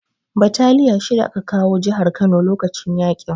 Bataliya shida aka kawo jihar Kano lokacin yaƙin